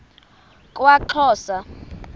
kwaxhosa